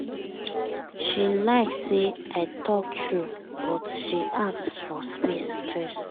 she like say i talk true but she ask for space first